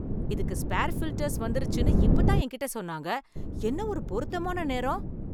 இதுக்கு spare filters வந்துருச்சுன்னு இப்ப தான் என்கிட்ட சொன்னாங்க. என்ன ஒரு பொருத்தமான நேரம்!